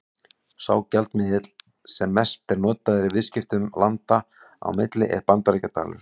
Sá gjaldmiðill sem mest er notaður í viðskiptum landa á milli er Bandaríkjadalur.